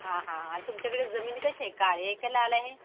हा हा आणि तुमच्याकडे जमीन कशी आहे? काळी आहे कि लाल आहे?